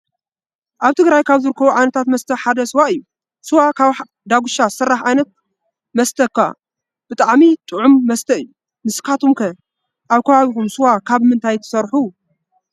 አብ ትግራይ ካብ ዝርከቡ ዓይታት መስተ ሓደ ስዋ እዩ ። ስዋ ካብ ዳጉሻ ዝስራሕ ዓይነ ት መስተ ኮይኑ ብጣዕሚ ጥዑም መስተ እዩ። ንስካትኩመ ከ አብበከባቢኩም ስዋ ካብ ምንታይ ትሰርሑ?